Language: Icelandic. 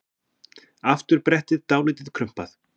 Afturbrettið dálítið krumpað.